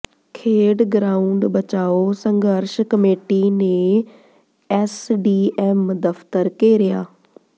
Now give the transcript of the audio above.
ਖੇਡ ਗਰਾਊਂਡ ਬਚਾਓ ਸੰਘਰਸ਼ ਕਮੇਟੀ ਨੇ ਐੱਸਡੀਐੱਮ ਦਫ਼ਤਰ ਘੇਰਿਆ